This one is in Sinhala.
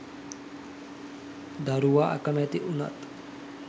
දරුවා අකැමැති වුනත්